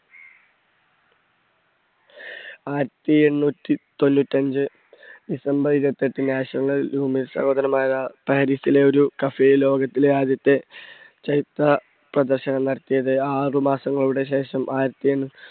ആയിരത്തി എണ്ണൂറ്റി തൊണ്ണൂറ്റഞ്ച് december ഇരുപത്തെട്ട്, national സഹോദരങ്ങളായ പാരീസിലെ ഒരു cafe ലോകത്തിലെ ആദ്യത്തെ ചരിത്ര പ്രദർശനം നടത്തിയത് ആറ് മാസങ്ങളുടെ ശേഷം ആയിരത്തി